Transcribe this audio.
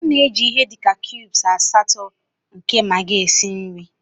M na-eji ihe dị ka cubes asatọ nke Magi esi nri.